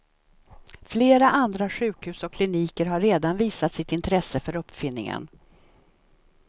Flera andra sjukhus och kliniker har redan visat sitt intresse för uppfinningen.